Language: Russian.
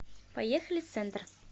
поехали центр